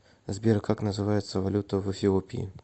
сбер как называется валюта в эфиопии